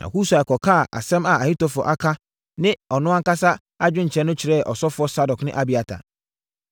Na Husai kɔkaa asɛm a Ahitofel aka ne ɔno ankasa adwenkyerɛ no kyerɛɛ asɔfoɔ Sadok ne Abiatar.